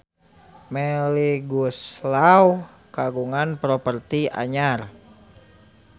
Melly Goeslaw kagungan properti anyar